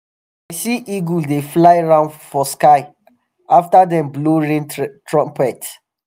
i see eagle dey fly round for sky after dem um blow rain trumpet